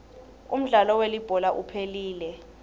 umdlalo welibhola uphelile